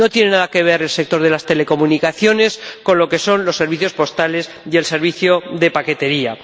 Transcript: No tiene nada que ver el sector de las telecomunicaciones con los servicios postales y el servicio de paquetería.